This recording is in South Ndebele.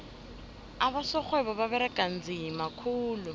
abosorhwebo baberega nzima khulu